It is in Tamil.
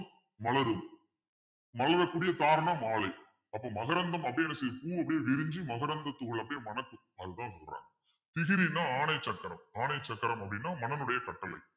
மலரும். மலரக் கூடிய காரணம் மாலை அப்போ மகரந்தம் அப்பிடின்னு சொல்லி பூ அப்படியே விரிஞ்சு மகரந்தத்துத் தூள் அப்பிடியே மணக்கும் அதுதான் சொல்றாங்க பிசிறின்னா ஆணை சக்கரம் ஆணை சக்கரம் அப்பிடின்னா மனனுடைய கட்டளை